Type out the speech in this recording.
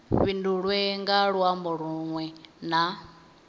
fhindulwe nga luambo lunwe na